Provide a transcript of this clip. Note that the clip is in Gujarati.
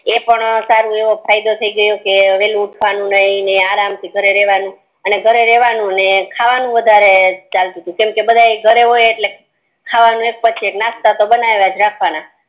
ઈ પણ સારો એવો ફાયદો થી ગયો કે વેળા ઊઠવાનું નય ને આરામ થી ઘરે રેવાનું ને ખાવાનું વધારે ચાલતું કેમકે બધા ઘરે હોય એટલે ખાવાનું એક પછી એક નાસ્તા તો બનાયજ રાખવાના